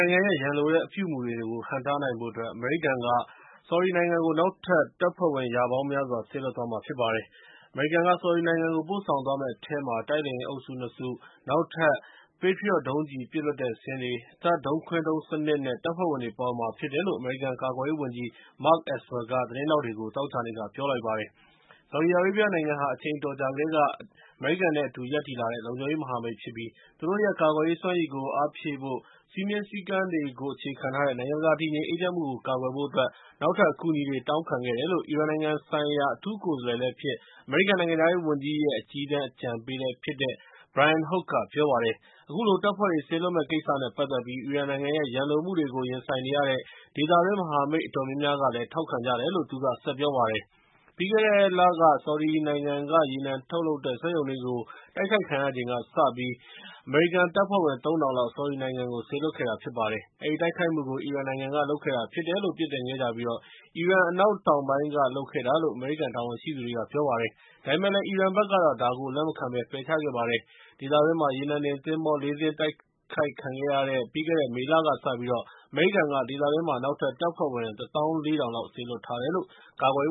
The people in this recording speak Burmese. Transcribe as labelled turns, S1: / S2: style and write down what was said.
S1: ိုင်ငံရဲ့ ရန်လိုတဲ့ အပြုအမူတွေကို ဟန့်တားနိုင်ဖို့အတွက် အမေရိကန်က ဆော်ဒီနိုင်ငံကို နောက်ထပ် တပ်ဖွဲ့ဝင် ရာပေါင်းများစွာ စေလွှတ်သွားမှာဖြစ်ပါတယ်။ အမေရိကန်က ဆော်ဒီနိုင်ငံကို ပို့ဆောင်သွားမယ့်အထဲမှာ တိုက်လေယာဉ်အုပ်စု ၂ စု၊ နောက်ထပ် Patriot ဒုံးကျည် ပစ်လွှတ်တဲ့စင်တွေ၊ THAAD ဒုံးခွင်းဒုံးစနစ်နဲ့ တပ်ဖွဲ့ဝင်တွေ ပါဝင်မှာဖြစ်တယ်လို့ အမေရိကန် ကာကွယ်ရေးဝန်ကြီး Mark Esper က သတင်းထောက်တွေကို သောကြာနေ့က ပြောကြားလိုက်ပါတယ်။ ဆော်ဒီအာရေဗျနိုင်ငံဟာ အချိန်အတော်ကြာကတည်းက အတူရပ်တည်လာတဲ့ လုံခြုံရေးမဟာမိတ်ဖြစ်ပြီး သူတို့ရဲ့ ကာကွယ်ရေးစွမ်းရည်ကို အားဖြည့်ဖို့နဲ့ စည်းမျဉ်းစည်းကမ်းတွေကို အခြေခံထားတဲ့ နိုင်ငံတကာ တည်ငြိမ်အေးချမ်းမှုကို ကာကွယ်ဖို့အတွက် နောက်ထပ်အကူအညီတွေ တောင်းခဲ့တယ်လို့ အီရန်နိုင်ငံဆိုင်ရာ အထူးကိုယ်စားလှယ်လည်းဖြစ်၊ အမေရိကန် နိုင်ငံခြားရေးဝန်ကြီးရဲ့ အကြီးတန်းအကြံပေးလည်းဖြစ်တဲ့ Brian Hook က ပြောပါတယ်။ အခုလို တပ်ဖွဲ့တွေ စေလွှတ်မယ့်ကိစ္စနဲ့ ပတ်သက်ပြီး အီရန်နိုင်ငံရဲ့ ရန်လိုမှုတွေကို ရင်ဆိုင်နေရတဲ့ ဒေသတွင်း မဟာမိတ် အတော်များများကလည်း ထောက်ခံကြတယ်လို့ သူက ဆက်ပြောပါတယ်။ ပြီးခဲ့တဲ့လက ဆော်ဒီနိုင်ငံက ရေနံထုတ်လုပ်တဲ့ စက်ရုံတွေ တိုက်ခိုက်ခံရချိန်ကစပြီး အမေရိကန်တပ်ဖွဲ့ဝင် ၃၀၀၀ လောက် ဆော်ဒီနိုင်ငံကို စေလွှတ်ခဲ့တာ ဖြစ်ပါတယ်။ အဲဒီတိုက်ခိုက်မှုကို အီရန်နိုင်ငံကလုပ်ခဲ့တာ ဖြစ်တယ်လို့ ပြစ်တင်ခဲ့ကြပြီး အီရန် အနောက်တောင်ပိုင်းကနေ လုပ်ခဲ့တာလို့ အမေရိကန် တာဝန်ရှိသူတွေက ပြောပါတယ်။ ဒါပေမယ့်လည်း အီရန်ဘက်ကတော့ ဒါကို လက်မခံဘဲ ပယ်ချခဲ့ပါတယ်။ ဒေသတွင်းမှာ ရေနံတင်သင်္ဘော ၄ စင်း တိုက်ခိုက်ခံခဲ့ရတဲ့ ပြီးခဲ့တဲ့ မေလကစပြီး အမေရိကန်က ဒေသတွင်းမှာ နောက်ထပ်တပ်ဖွဲ့ဝင် ၁ သောင်း ၄ ထောင် စေလွှတ်ထားတယ်လို့ ကာကွယ်